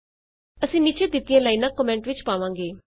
ਅਸੀਂ ਨੀਚੇ ਦਿੱਤੀਆਂ ਲਾਈਨਾਂ ਕੋਮੈਂਟ ਵਿਚ ਪਾਵਾਂਗੇ